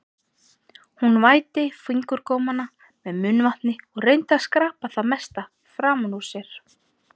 Hún vætti fingurgómana með munnvatni og reyndi að skrapa það mesta framan úr sér.